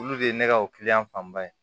Olu de ye ne ka o kiliyan fanba ye